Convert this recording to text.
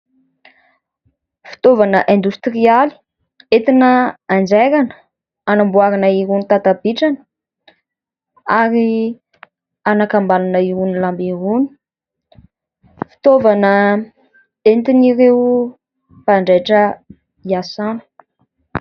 Fitaovana indostrialy entina anjairana, anamboarina iroany tata-bitrana ary anakambanana iroany lamba iroany ; fitaovana entin'ireo mpanjaitra hiasana.